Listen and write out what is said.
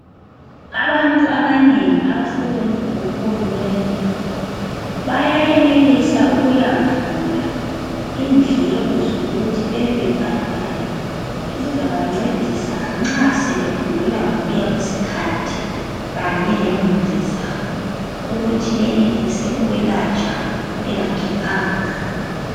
Abantu abanengi abasebenza kahulumende bayayenelisa ukuyavula indleko zokuthi bebebebhadala ezizabancedisa nxa sebegula ngokuya kwesikhathi kanye lemuli zabo ukuthi benelise ukwelatshwa bengakhiphanga mali.